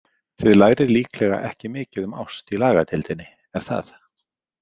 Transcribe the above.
Þið lærið líklega ekki mikið um ást í lagadeildinni, er það?